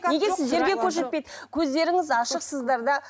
неге сіздерге көрсетпейді көздеріңіз ашықсыздар да